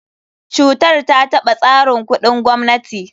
Cutar ta taɓa tsarin kuɗin gwamnati.